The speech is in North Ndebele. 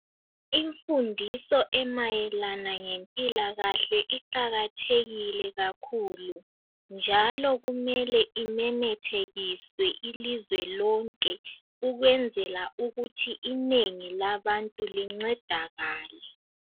Imfundiso emayelana ngempilakahle iqakathekile kakhulu. Njalo kumele imemethekiswe ilizwe lonke ukwenzela ukuthi inengi labantu lincedakale.